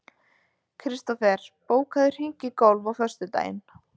Kristofer, bókaðu hring í golf á föstudaginn.